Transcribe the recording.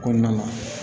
Kɔnɔna la